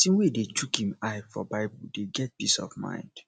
pesin wey dey chook im eye for bible dey get peace of mind